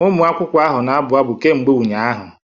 ụmụ akwụkwọ ahụ na-abụ abụ kemgbe ụnyahụ